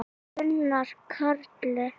Gunnar Karel.